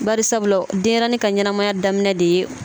Bari sabula denɲɛrɛnin ka ɲɛnamaya daminɛ de ye